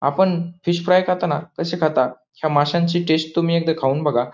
आपण fish fry खातो ना तसे खाता ह्या माशांची टेस्ट तुम्ही एकदा खाऊन बघा.